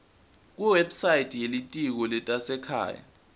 kuwebsite yelitiko letasekhaya